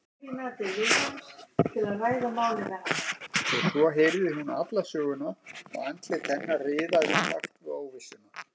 Og svo heyrði hún alla söguna og andlit hennar riðaði í takt við óvissuna.